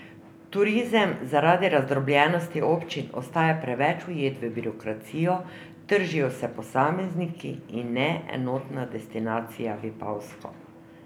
Turizem zaradi razdrobljenosti občin ostaja preveč ujet v birokracijo, tržijo se posamezniki, in ne enotna destinacija Vipavsko.